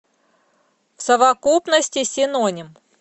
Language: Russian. в совокупности синоним